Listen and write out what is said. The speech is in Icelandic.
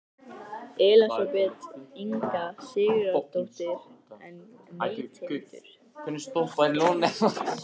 Elísabet Inga Sigurðardóttir: En neytendur?